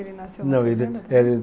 Ele nasceu na fazenda?